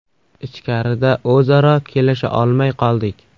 Ichkarida o‘zaro kelisha olmay qoldik.